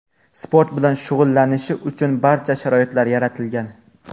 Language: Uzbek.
sport bilan shug‘ullanishi uchun barcha sharoitlar yaratilgan.